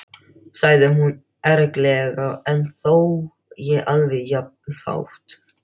sagði hún ergilega en þó ekki alveg jafn hátt.